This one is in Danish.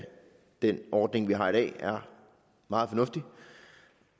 den ordning vi har i dag er meget fornuftig